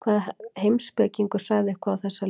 Hvaða heimspekingur sagði eitthvað á þessa leið?